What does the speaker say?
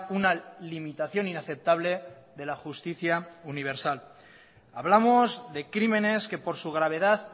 una limitación inaceptable de la justicia universal hablamos de crímenes que por su gravedad